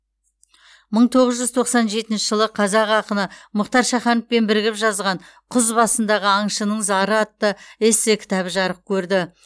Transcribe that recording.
мың тоғыз жүз тоқсан жетінші жылы қазақ ақыны мұхтар шахановпен бірігіп жазған құз басындағы аңшының зары атты эссе кітабы жарық көрді